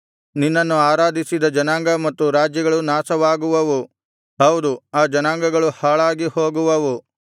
ನಿನ್ನನ್ನು ಆರಾಧಿಸದ ಜನಾಂಗ ಮತ್ತು ರಾಜ್ಯಗಳು ನಾಶವಾಗುವವು ಹೌದು ಆ ಜನಾಂಗಗಳು ಹಾಳಾಗಿ ಹೋಗುವವು